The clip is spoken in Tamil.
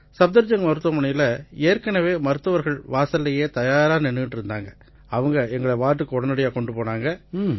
சஃப்தர்ஜங்க் மருத்துவமனையில ஏற்கெனவே மருத்துவர்கள் வாசல்லேயே தயாரா நின்னுட்டு இருந்தாங்க அவங்க எங்களை வார்டுக்கு உடனடியா கொண்டு போனாங்க